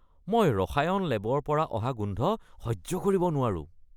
মই ৰসায়ন লেবৰ পৰা অহা গোন্ধ সহ্য কৰিব নোৱাৰো।